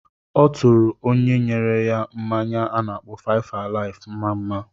Ọ tụrụ onye nyere ya mmanya a na-akpọ 5-alive mma-mma.